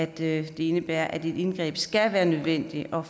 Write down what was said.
det indebærer at et indgreb skal være nødvendigt og